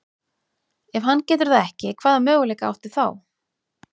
Ef hann getur það ekki, hvaða möguleika áttu þá?